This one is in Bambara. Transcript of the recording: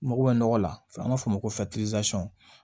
Mago bɛ nɔgɔ la n'an b'a fɔ o ma ko